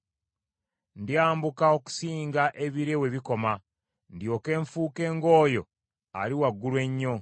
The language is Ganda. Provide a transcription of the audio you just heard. ndyambuka okusinga ebire we bikoma, ndyoke nfuuke ng’oyo ali waggulu ennyo.”